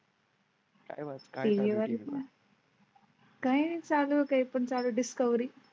काही. काही चालू काही पण चालू डिस्कव्हरी.